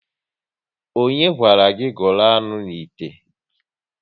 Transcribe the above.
Ọnye gwara gị gụrụ anụ n'ite?